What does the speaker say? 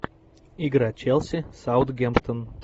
игра челси саутгемптон